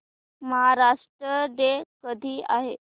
Maharashtra day कधी आहे